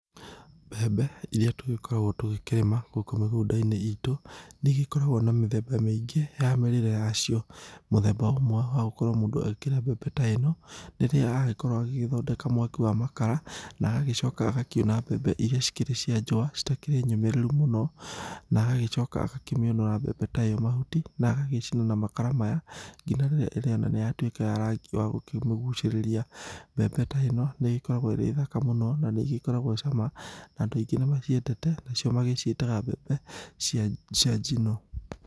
Mbembe iria tũgĩkoragwo tũgĩkĩrĩma gũkũ mĩgũnda-inĩ itu, ,nĩigokagwo na mĩthemba mĩingi ya mĩrĩre yacio. Mũthemba ũmwe wa gũkorwo mũndũ agĩkĩrĩa mbembe ta ĩno, nĩ rĩrĩa agĩkorwo agĩthondeka mwaki wa makara ,na agagĩcoka agakiuna mbembe iria cikĩrĩ cia njũa citakĩrĩ nyũmĩrĩru mũno ,na agagĩcoka agakĩmĩũnũra mbembe ta ĩyo mahuti na agagĩcina na makara maya, ngina rĩrĩa ĩrĩona nĩyatuĩka rangi wa gũkĩmũgucĩrĩria. Mbembe ta ĩno nĩĩgĩkoragwo ĩrĩ thaka mũno na nĩĩgĩkoragwo cama, na andũ aingĩ nĩmaciendete nacio magĩciĩtaga mbembe cia cia njino.